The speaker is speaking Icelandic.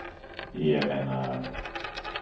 Ég meina